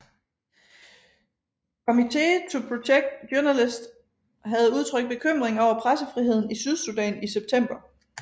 Committee to Protect Journalists havde udtrykt bekymring over pressefriheden i Sydsudan i september